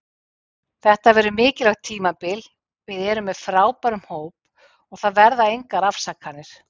Þetta verður mikilvægt tímabil, við erum með frábæran hóp og það verða engar afsakanir.